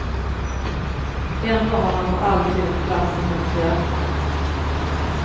Ändå har han för alltid en plats i hennes hjärta.